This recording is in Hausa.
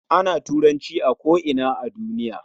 Ana Turanci a ko ina a duniya